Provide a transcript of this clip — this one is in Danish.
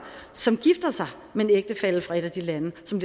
som gifter sig med en ægtefælle fra et af de lande som